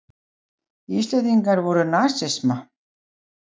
Íslendingar voru nasisma.